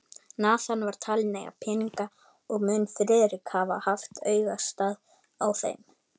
Nathan var talinn eiga peninga, og mun Friðrik hafa haft augastað á þeim.